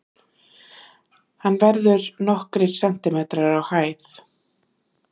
Hann verður nokkrir sentimetrar á hæð.